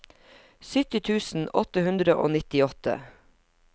sytti tusen åtte hundre og nittiåtte